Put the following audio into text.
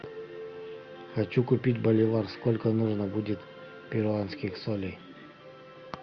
хочу купить боливар сколько нужно будет перуанских солей